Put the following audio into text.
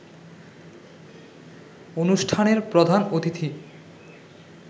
অনুষ্ঠানের প্রধান অতিথি